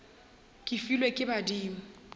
ke e filwe ke badimo